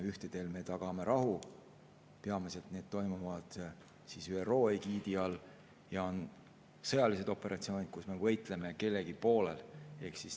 Ühtedel me tagame rahu, peamiselt toimuvad need ÜRO egiidi all, ja on sõjalised operatsioonid, kus me võitleme kellegi poolel.